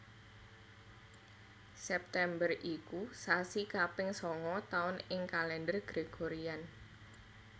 September iku sasi kaping sanga taun ing Kalendher Gregorian